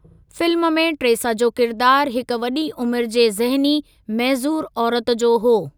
Film में Tresa जो किरिदारु हिक वॾी उमिरि जे ज़हनी मइज़ूर औरत जो हो।